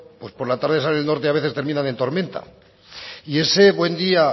pues por la tarde sale el norte y a veces terminan en tormenta y ese buen día